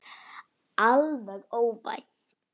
Alveg óvænt!